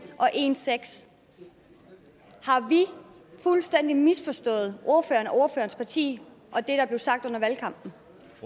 og en til seks har vi fuldstændig misforstået ordføreren ordførerens parti og det der blev sagt under valgkampen